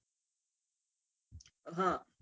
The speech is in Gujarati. હા